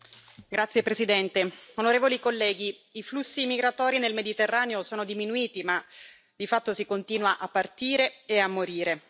Signor Presidente, onorevoli colleghi, i flussi migratori nel Mediterraneo sono diminuiti, ma di fatto si continua a partire e a morire.